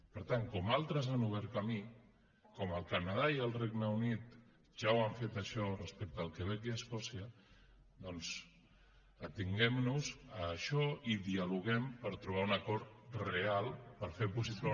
per tant com que altres han obert camí com que el canadà i el regne unit ja ho han fet això respecte al quebec i escòcia doncs atenguem nos a això i dialoguem per trobar un acord real per fer possible